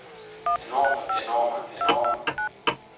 enorme enorme enorme